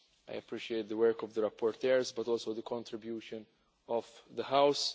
I appreciate the work of the rapporteurs but also the contribution of the House.